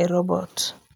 e robot,